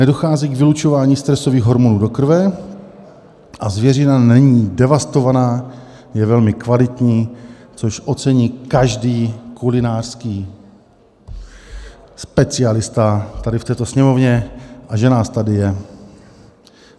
Nedochází k vylučování stresových hormonů do krve a zvěřina není devastována, je velmi kvalitní" - což ocení každý kulinářský specialista tady v této Sněmovně, a že nás tady je.